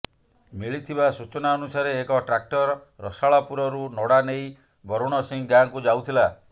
ମିଳିଥିବା ସୂଚନା ଅନୁସାରେ ଏକ ଟ୍ରାକ୍ଟର ରସାଳପୁରରୁ ନଡ଼ା ନେଇ ବରୁଣସିଂ ଗାଁକୁ ଯାଉଥିଲା